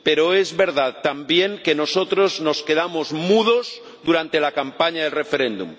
pero es verdad, también, que nosotros nos quedamos mudos durante la campaña del referéndum.